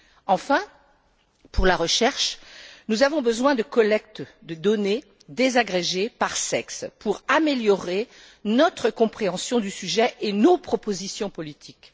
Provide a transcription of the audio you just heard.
Enfin, pour la recherche, nous avons besoin de collectes de données désagrégées par sexe pour améliorer notre compréhension du sujet et nos propositions politiques.